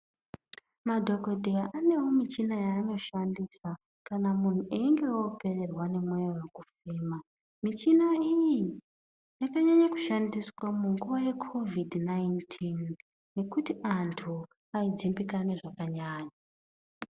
Madhokodheya aneo michina yaanoshandisa kana munthu einge oprerwa nemweya wekufema michina iyi yakanyanya kushandiswa munguwa yeCovid 19 nekuti anthu aidzimbikana zvakanyanya .